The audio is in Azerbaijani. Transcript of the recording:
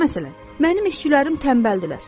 Məsələn, mənim işçilərim tənbəldirlər.